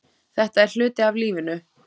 Þetta er hluti af lífinu.